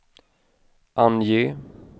ange